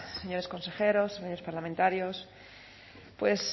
señores consejeros señores parlamentarios pues